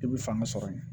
I bi fanga sɔrɔ yen